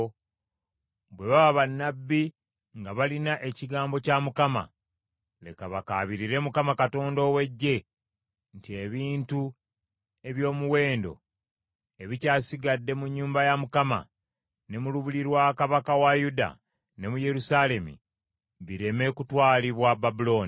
Bwe baba bannabbi nga balina ekigambo kya Mukama , leka bakaabirire Mukama Katonda ow’Eggye nti ebintu eby’omuwendo ebikyasigadde mu nnyumba ya Mukama ne mu lubiri lwa kabaka wa Yuda ne mu Yerusaalemi bireme kutwalibwa Babulooni.